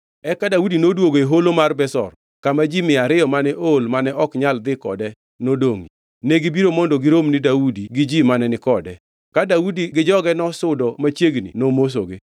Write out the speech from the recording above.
Eka Daudi noduogo e Holo mar Besor kama ji mia ariyo mane ool mane ok nyal dhi kode nodongʼie. Negibiro mondo girom ni Daudi gi ji mane ni kode. Ka Daudi gi joge nosudo machiegni nomosogi.